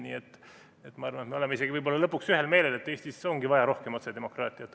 Nii et ma arvan, et me oleme lõpuks isegi võib-olla ühel meelel, et Eestis on vaja rohkem otsedemokraatiat.